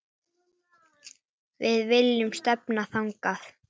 Við viljum stefna þangað.